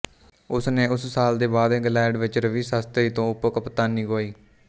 ਉਸ ਨੇ ਉਸ ਸਾਲ ਦੇ ਬਾਅਦ ਇੰਗਲੈਂਡ ਵਿੱਚ ਰਵੀ ਸ਼ਾਸਤਰੀ ਤੋਂ ਉਪ ਕਪਤਾਨੀ ਗੁਆਈ